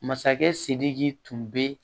Masakɛ sidiki tun bɛ